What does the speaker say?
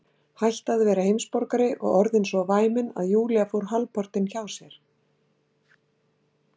Hætt að vera heimsborgari og orðin svo væmin að Júlía fór hálfpartinn hjá sér.